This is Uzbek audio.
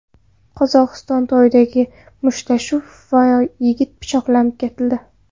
Qozog‘istonda to‘ydagi mushtlashuv vaqtida yigit pichoqlab ketildi.